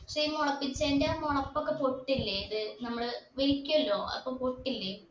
ക്ഷെ മുളപ്പിച്ചതിന്റെ മുളപ്പൊക്കെ പൊട്ടില്ലെ ഇത് നമ്മള് വലിക്കല്ലോ അപ്പം പൊട്ടില്ലേ